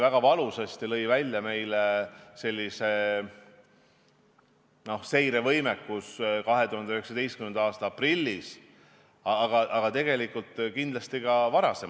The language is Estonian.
Väga valusasti lõi välja meie seirevõimekus 2019. aasta aprillis, aga tegelikult kindlasti ka varem.